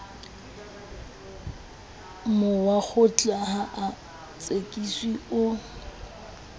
mowakgotla ha a tsekiswe o